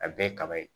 A bɛɛ ye kaba ye